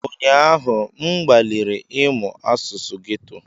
Ụnyaahụ, m gbalịrị ịmụ asụsụ geto.